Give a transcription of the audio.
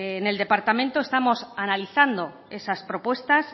en el departamento estamos analizando esas propuestas